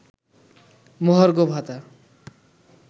মহার্ঘ ভাতা